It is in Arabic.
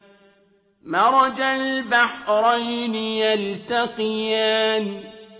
مَرَجَ الْبَحْرَيْنِ يَلْتَقِيَانِ